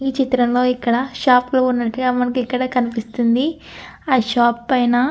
ఈ చిత్రంలో ఇక్కడ షాపు లో ఉన్నట్టుగా మనకు ఇక్కడ కనిపిస్తుంది ఆ షాపు పైన --